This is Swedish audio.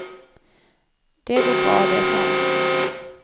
Det går bra det, sa hon.